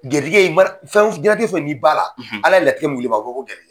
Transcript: Garijigɛ jiɲɛnatigɛ fɛn fɛn n'i b'a la ala ye latigɛ mun di ma a bi fɔ ko garijigɛ